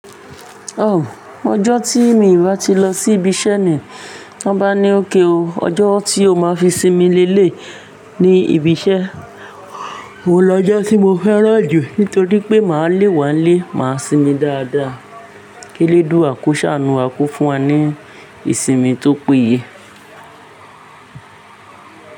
O, ọjọ́ tí mi ò bá ti lọ sí ibi iṣẹ́ ni, ti wọ́n bá ní ókay o, ọjọ́ tí o máa fi sinmi li eleyii ní ibi iṣẹ́, òhun lọjọ́ tí mo fẹ́ràn jù nítorí pé màá lé wá lé, màá sinmi dáadáa. Kí eledua ko ṣàánú a ko fún wa ní ìsinmi tó péye.